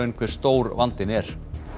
hve stór vandinn er